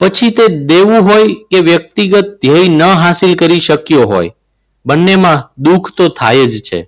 પછી તે દેવું હોય કે વ્યક્તિગત ધ્યેય ન હાસિલ કરી શક્યો હોય બંનેમાં દુઃખ તો થાય જ છે.